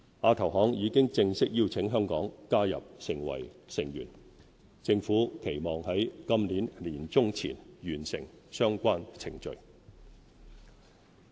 亞投行已正式邀請香港加入成為成員，政府期望於今年年中前完成相關程序。